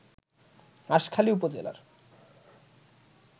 হাসখালী উপজেলার